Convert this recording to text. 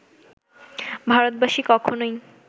ভারতবাসী কখনোই